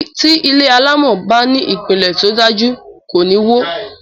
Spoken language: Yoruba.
Ti ilé alámò bá ní ìpiǹlè tódájú, kò níwó